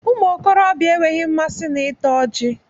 Ụmụ okorobịa enweghị mmasị na ịta ọji